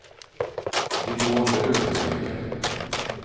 De to andre rørte seg ikke.